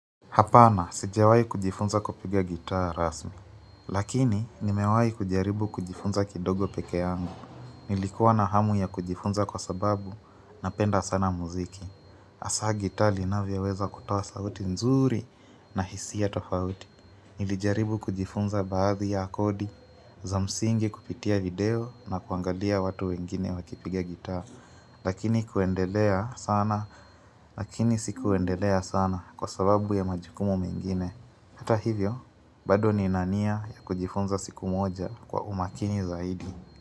Hapana, sijawai kujifunza kupiga gitaa rasmi. Lakini, nimewai kujaribu kujifunza kidogo pekee yangu. Nilikuwa na hamu ya kujifunza kwa sababu na penda sana muziki. Asa gitaa linavya weza kutawa sauti nzuri na hisia ya tofauti. Nilijaribu kujifunza baadhi ya kodi, za msingi kupitia video na kuangalia watu wengine wakipiga gitaa. Lakini kuendelea sana, Lakini sikuendelea sana kwa sababu ya majukumu mengine Hata hivyo, bado nina nia ya kujifunza siku moja kwa umakini zaidi.